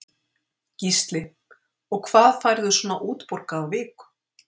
Gísli: Og hvað færðu svona útborgað á viku?